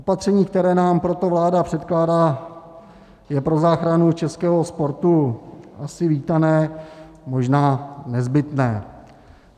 Opatření, které nám proto vláda předkládá, je pro záchranu českého sportu asi vítané, možná nezbytné.